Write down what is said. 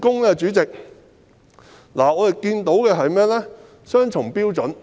第一點，我們看到雙重標準。